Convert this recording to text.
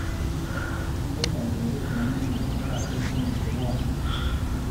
Indene kereet nenyumnyum eng saishek somok chenwone